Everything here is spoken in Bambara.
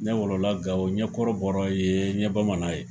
Ne wolol la Gawo, n ye Kɔrɔ bɔra ye, n ye Bamanan ye.